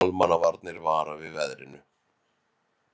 Almannavarnir vara við veðrinu